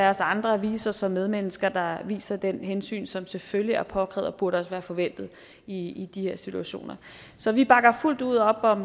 os andre vise os som medmennesker der viser det hensyn som selvfølgelig er påkrævet burde være forventet i de her situationer så vi bakker fuldt ud op om